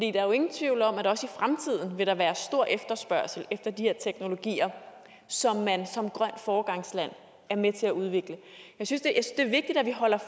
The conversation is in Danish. er jo ingen tvivl om at også i fremtiden vil der være stor efterspørgsel efter de her teknologier som man som grønt foregangsland er med til at udvikle jeg synes det er vigtigt at vi holder